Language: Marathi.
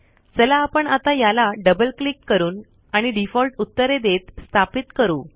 चला आपण आता याला डबल क्लिक करून आणि डिफॉल्ट उत्तरे देत स्थापित करू